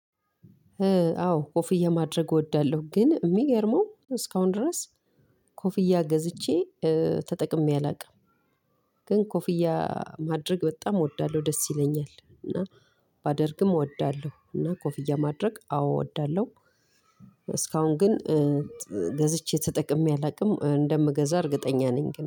አዎ ኮፍያ ማድረግ እወዳለሁ ግን የሚገርመው እስካሁን ድረስ። ኮፍያ ገዝቼ ተጠቅሜ አላውቅም። ግን ኮፍያ ማድረግ በጣም እወዳለሁ ደስ ይለኛል እና። ባደርግም እወዳለሁ እና ኮፍያ ማድረግ አዎ እወዳለሁ። እስካሁን ግን ገዝቼ ተጠቅሜ አላውቅም እንደምገዛ እርግጠኛ ነኝ ግን